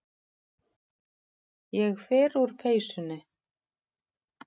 Ég fer úr peysunni.